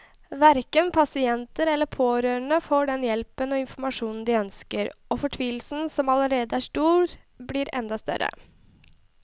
Hverken pasient eller pårørende får den hjelpen og informasjonen de ønsker, og fortvilelsen som allerede er stor, blir enda større.